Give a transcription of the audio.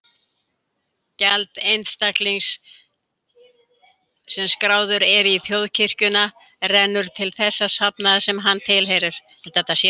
Gjald einstaklings sem skráður er í þjóðkirkjuna rennur til þess safnaðar sem hann tilheyrir.